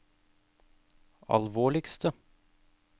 alvorligste